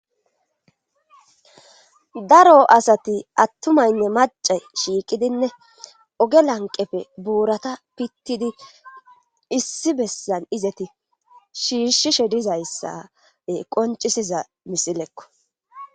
Daro asati attumaynne mace shiiqidinne oge lanqefe buurata pittidi issi bessan izeti shiishshishe dizayssae qoncisiza misilekko.